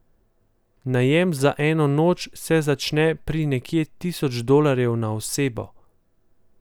Najem za eno noč se začne pri nekje tisoč dolarjih na osebo ...